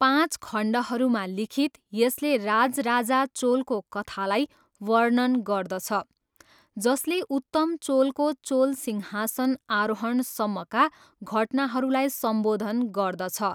पाँच खण्डहरूमा लिखित, यसले राजराजा चोलको कथालाई वर्णन गर्दछ, जसले उत्तम चोलको चोल सिंहासन आरोहणसम्मका घटनाहरूलाई सम्बोधन गर्दछ।